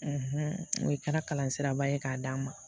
n'o ye kɛra kalan siraba ye k'a d'a ma